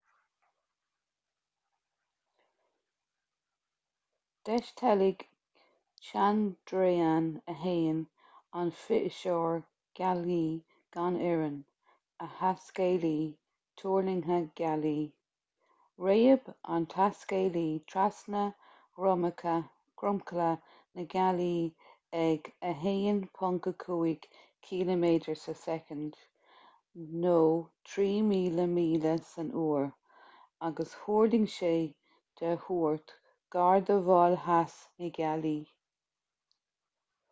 d'eisteilg chandrayaan-1 an fithiseoir gealaí gan fhoireann a thaiscéalaí tuirlingthe gealaí. réab an taiscéalaí trasna dhromchla na gealaí ag 1.5 ciliméadar sa soicind 3000 míle san uair agus thuirling sé de thuairt gar do mhol theas na gealaí